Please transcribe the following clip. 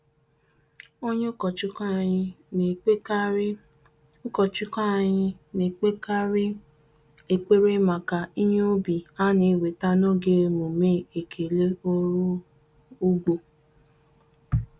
Onye Ukọchụkwụ anyị na-ekpekarị Ukọchụkwụ anyị na-ekpekarị ekpere maka ihe ubi a na-eweta n'oge emume ekele ọrụ ugbo.